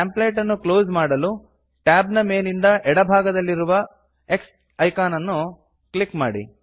template ಅನ್ನು close ಮಾಡಲು tab ನ ಮೇಲಿಂದ ಎಡ ಭಾಗದಲ್ಲಿರುವ X ಐಕಾನ್ ಅನ್ನು ಕ್ಲಿಕ್ ಮಾಡಿ